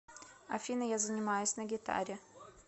афина я занимаюсь на гитаре